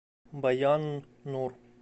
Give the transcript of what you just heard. баян нур